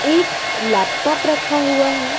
एक लैपटॉप रखा हुआ है।